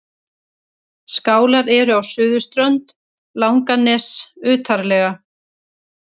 Skálar eru á suðurströnd Langaness utarlega.